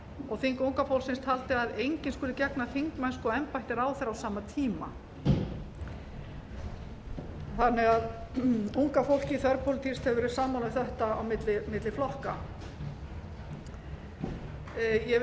og þing unga fólksins taldi að enginn skuli gegna þingmennsku og embætti ráðherra á sama tíma unga fólkið þverpólitískt hefur verið sammála um þetta á milli flokka ég vil